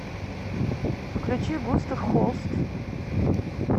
включи густав холст